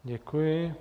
Děkuji.